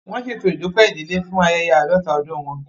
Wọn ṣeto Idupẹ idile fun ayẹyẹ aadọta ọdun wọn